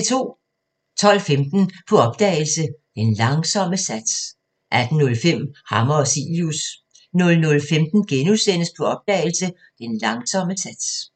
12:15: På opdagelse – Den Langsomme Sats 18:05: Hammer og Cilius 00:15: På opdagelse – Den Langsomme Sats *